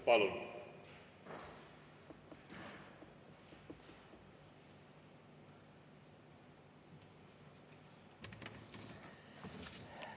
Palun!